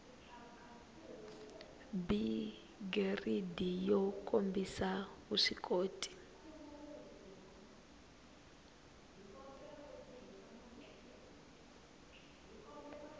b giridi yo kombisa vuswikoti